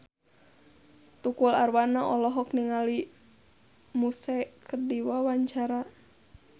Tukul Arwana olohok ningali Muse keur diwawancara